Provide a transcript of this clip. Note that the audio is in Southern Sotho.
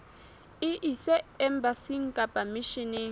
e ise embasing kapa misheneng